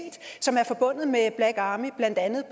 som er forbundet med black army blandt andet